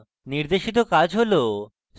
আপনার জন্য নির্দেশিত কাজ রয়েছে